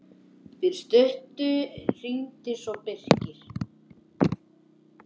Fyrir stuttu hringdi svo Birkir.